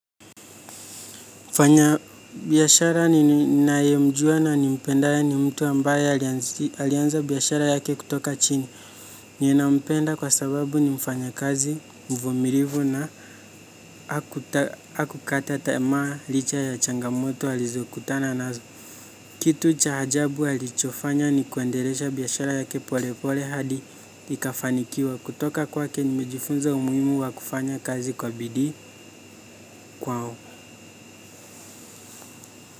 Mfanya biyashara ninae mjua na nimpendae ni mtu ambaye alianza biyashara yake kutoka chini. Nie nampenda kwa sababu ni mfanya kazi mvumilivu na haku kata tamaa licha ya changamoto alizokutana nazo. Kitu cha ajabu alichofanya ni kuendelesha biyashara yake pole pole hadi ikafanikiwa. Kutoka kwake nimejifunza umuimu wa kufanya kazi kwa bidii kwao.